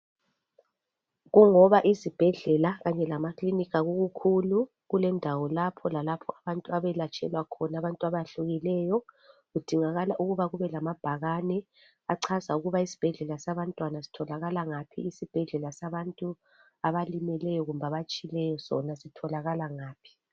Kungoba izibhedlela kanye lamakilinika kukhulu kulendawo lapho lalapho abantu abelatshelwa khona abantu abehlukeneyo. Kudingakala ukuba kubelamabhakane atshengisela ukuba isibhedlela sabantwana sitholakala ngaphi, isibhedlela sabantu abalimeleyo sitholakala ngaphi.